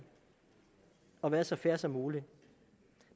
og har været så fair som muligt